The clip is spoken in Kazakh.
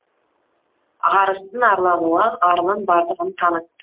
ағарыстың арлануы арының барлығын танытты